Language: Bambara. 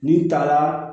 N'i taara